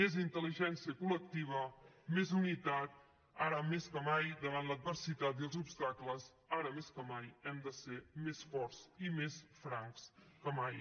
més intel·ligència col·lectiva més unitat ara més que mai davant l’adversitat i els obstacles ara més que mai hem de ser més forts i més francs que mai